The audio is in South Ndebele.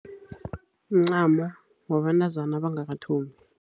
Mncamo wabentazana abangakathombi.